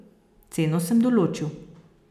Ceno sem določil.